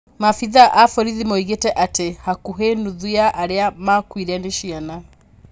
Maabithaa a vorithi moigĩte atĩ vakuvĩ nuthu ya arĩa makuĩre ni ciana.